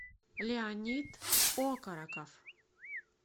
леонид окороков